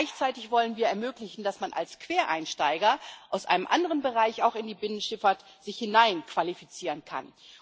Gleichzeitig wollen wir ermöglichen, dass man sich als Quereinsteiger aus einem anderen Bereich auch in die Binnenschifffahrt hinein qualifizieren kann.